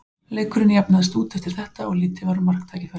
Leikurinn jafnaðist út eftir þetta og lítið var um marktækifæri.